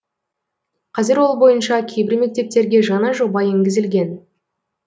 қазір ол бойынша кейбір мектептерге жаңа жоба енгізілген